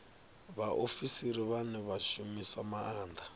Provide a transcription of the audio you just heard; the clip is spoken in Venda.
vhaofisiri vhane vha shumisa maanda